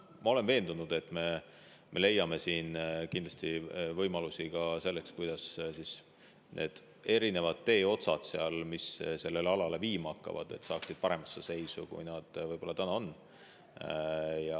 Ma olen veendunud, et me leiame kindlasti võimalusi ka selleks, kuidas need teeotsad, mis sellele alale viima hakkavad, saaksid paremasse seisu, kui nad praegu on.